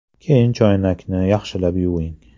Keyin choynakni yaxshilab yuving.